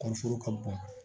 Kɔɔri foro ka bon